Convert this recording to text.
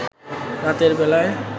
রাতের বেলায়